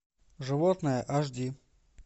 животное аш ди